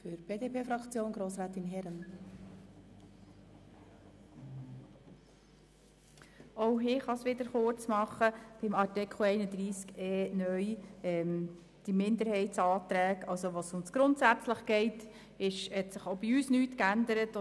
In Bezug auf Artikel 31e (neu), zu welchem der Minderheitsantrag zum Begriff «grundsätzlich» vorliegt, hat sich auch bei uns nichts geändert.